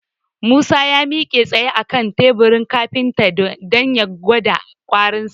Musa ya miƙe tsaye a kan teburin kafintan dan ya gwada ƙwarinsa.